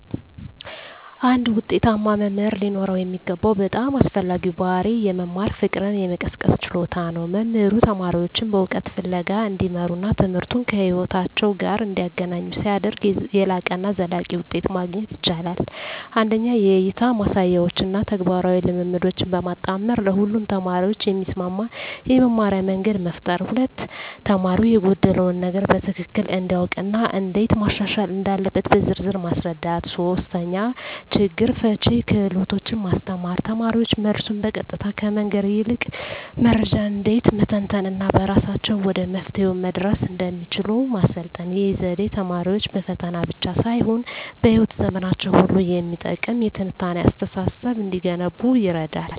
አንድ ውጤታማ መምህር ሊኖረው የሚገባው በጣም አስፈላጊው ባሕርይ የመማር ፍቅርን የመቀስቀስ ችሎታ ነው። መምህሩ ተማሪዎቹን በእውቀት ፍለጋ እንዲመሩና ትምህርቱን ከሕይወታቸው ጋር እንዲያገናኙ ሲያደርግ፣ የላቀና ዘላቂ ውጤት ማግኘት ይቻላል። 1) የእይታ ማሳያዎችን እና ተግባራዊ ልምምዶችን በማጣመር ለሁሉም ተማሪዎች የሚስማማ የመማርያ መንገድ መፍጠር። 2)ተማሪው የጎደለውን ነገር በትክክል እንዲያውቅ እና እንዴት ማሻሻል እንዳለበት በዝርዝር ማስረዳት። 3)ችግር ፈቺ ክህሎቶችን ማስተማር: ተማሪዎች መልሱን በቀጥታ ከመንገር ይልቅ መረጃን እንዴት መተንተን እና በራሳቸው ወደ መፍትሄው መድረስ እንደሚችሉ ማሰልጠን። ይህ ዘዴ ተማሪዎች በፈተና ብቻ ሳይሆን በሕይወት ዘመናቸው ሁሉ የሚጠቅም የትንታኔ አስተሳሰብ እንዲገነቡ ይረዳል።